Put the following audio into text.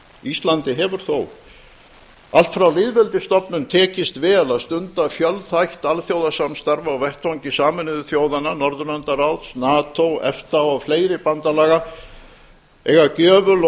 íslandi hefur þó allt frá lýðveldisstofnun tekist vel að stunda fjölþætt alþjóðasamstarf á vettvangi sameinuðu þjóðanna norðurlandaráðs nato efta og fleiri bandalaga eiga gjöful og